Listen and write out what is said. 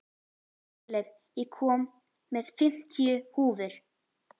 Guðleif, ég kom með fimmtíu húfur!